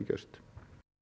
gerst